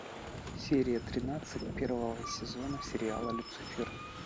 серия тринадцать первого сезона сериала люцифер